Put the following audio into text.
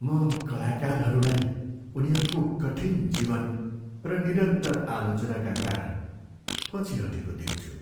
म कलाकारहरूलाई उनीहरूको कठिन जीवन र निरन्तर आलोचनाका कारण पछि हटेको देख्छु।